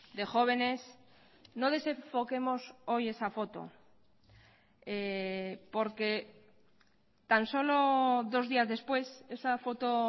de jóvenes no desenfoquemos hoy esa foto porque tan solo dos días después esa foto